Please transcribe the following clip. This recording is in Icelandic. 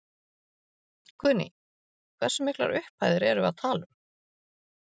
Guðný: Hversu miklar upphæðir erum við að tala um?